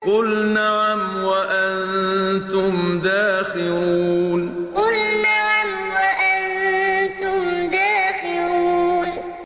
قُلْ نَعَمْ وَأَنتُمْ دَاخِرُونَ قُلْ نَعَمْ وَأَنتُمْ دَاخِرُونَ